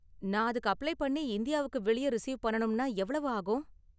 நான் அதுக்கு அப்ளை பண்ணி இந்தியாவுக்கு வெளியே ரிசீவ் பண்ணனும்னா எவ்வளவு ஆகும்?